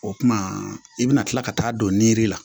O kumana i bɛna kila ka taa don la